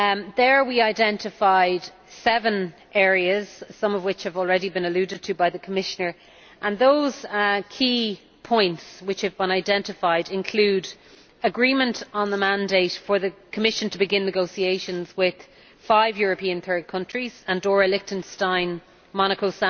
There we identified seven areas, some of which have already been alluded to by the Commissioner. Those key points which have been identified include an agreement on the mandate for the Commission to begin negotiations with five European third countries Andorra, Liechtenstein, Monaco,